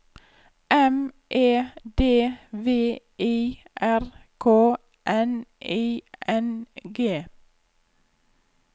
M E D V I R K N I N G